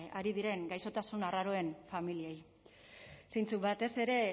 ari diren gaixotasun arraroen familiei zeintzuk batez ere